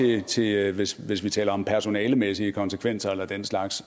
jeg sige at hvis hvis vi taler om personalemæssige konsekvenser eller den slags